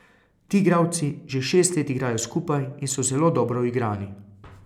Ti igralci že šest let igrajo skupaj in so zelo dobro uigrani.